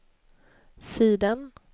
sidan